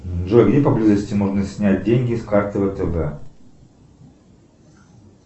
джой где поблизости можно снять деньги с карты втб